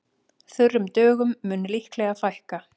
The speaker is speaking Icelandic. Þurrum dögum mun líklega fækka